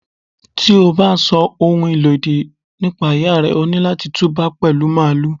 Tí o bá sọ ohun ìlòdì nípa Ìyá rẹ, o ní láti tú bá pẹ̀lú Màálù.